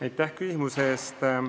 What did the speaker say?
Aitäh küsimuse eest!